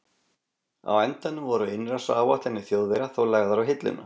Á endanum voru innrásaráætlanir Þjóðverja þó lagðar á hilluna.